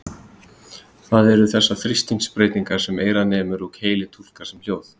Það eru þessar þrýstingsbreytingar sem eyrað nemur og heilinn túlkar sem hljóð.